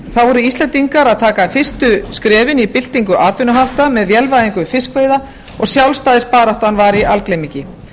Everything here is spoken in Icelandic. voru íslendingar að taka fyrstu skrefin í byltingu atvinnuhátta með vélvæðingu fiskveiða og sjálfstæðisbaráttan var í algleymingi